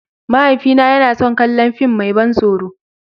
Mahaifina yana son kallon fim mai ban tsoro.